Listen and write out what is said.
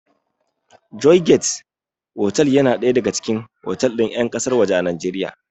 Joygate otal yana ɗaya daga cikin otal ɗin ƴan ƙasar waje a Najeriya